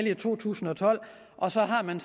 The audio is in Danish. i to tusind og tolv og så har man